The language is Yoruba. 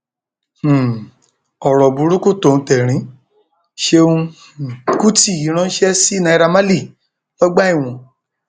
um ọrọ burúkú tóuntẹrín ṣẹùn um kùtì ránṣẹ sí naira marley lọgbà ẹwọn